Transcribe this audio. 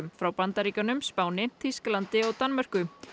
frá Bandaríkjunum Spáni Þýskalandi og Danmörku